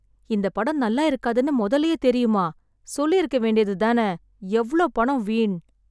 இந்தப் படம் நல்லா இருக்காதுன்னு முதல்லயே தெரியுமா? சொல்லிருக்க வேண்டியது தான. எவ்ளோ பணம் வீண்.